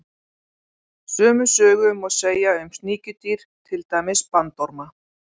Sömu sögu má segja um sníkjudýr, til dæmis bandorma.